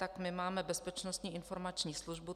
Tak my máme Bezpečnostní informační službu.